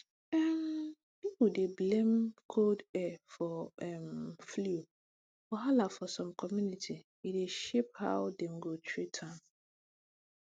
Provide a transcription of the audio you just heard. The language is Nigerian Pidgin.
um pipol plenty dey blame cold air for um flu wahala for some community e dey shape how dem go treat am